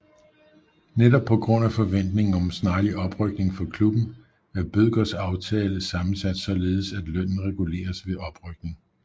Netop på grund af forventningen om snarlig oprykning for klubben er Bødkers aftale sammensat således at lønnen reguleres ved oprykning